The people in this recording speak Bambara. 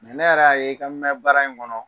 ne yɛrɛ y'a ye i ka mɛ baara in kɔnɔ